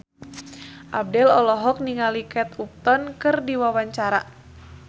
Abdel olohok ningali Kate Upton keur diwawancara